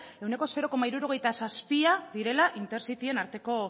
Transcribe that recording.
ehuneko zero koma hirurogeita zazpi direla intercityen arteko